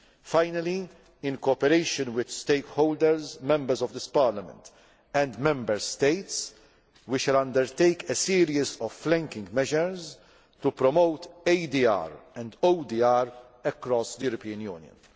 on ADR. Finally, in cooperation with stakeholders, Members of this Parliament and Member States, we shall undertake a series of flanking measures to promote ADR and ODR across the European